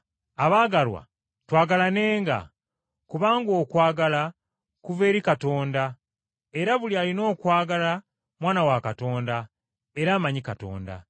Abaagalwa, twagalanenga, kubanga okwagala kuva eri Katonda, era buli alina okwagala mwana wa Katonda, era amanyi Katonda.